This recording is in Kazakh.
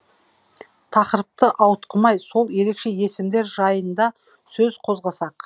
тақырыпты ауытқымай сол ерекше есімдер жайында сөз қозғасақ